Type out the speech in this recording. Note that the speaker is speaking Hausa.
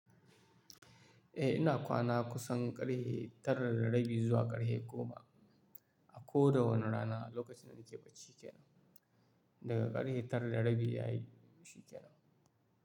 Eh ina kwana kusan ƙarhe tara da rabi zuwa ƙarhe goma a koda wani rana lokacin da nike bacci kenan daga ƙarhe tara da rabi yayin shikenan.